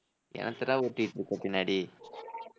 என்னத்தடா உருட்டிட்டுருக்க பின்னாடி